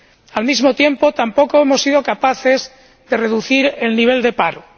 Al mismo tiempo, tampoco hemos sido capaces de reducir el nivel de paro.